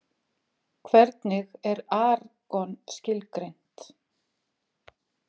Hvernig er argon skilgreint?